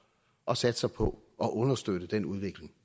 og satser på at understøtte den udvikling